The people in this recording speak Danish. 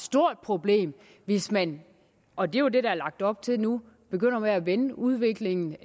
stort problem hvis man og det er jo det der er lagt op til nu begyndte at vende udviklingen